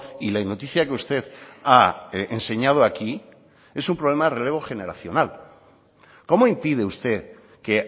y la noticia que usted ha enseñado aquí es un problema de relevo generacional cómo impide usted que